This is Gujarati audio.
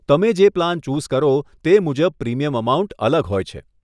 તમે જે પ્લાન ચૂઝ કરો તે મુજબ પ્રીમિયમ અમાઉન્ટ અલગ હોય છે.